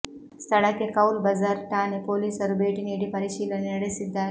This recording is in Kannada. ಸ್ಥಳಕ್ಕೆ ಕೌಲ್ ಬಜಾರ್ ಠಾಣೆ ಪೊಲೀಸರು ಭೇಟಿ ನೀಡಿ ಪರಿಶೀಲನೆ ನಡೆಸಿದ್ದಾರೆ